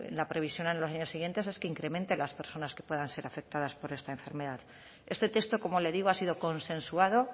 la previsión en los años siguientes es que incrementen las personas que puedan ser afectadas por esta enfermedad este texto como le digo ha sido consensuado